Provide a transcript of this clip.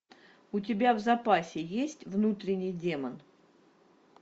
у тебя в запасе есть внутренний демон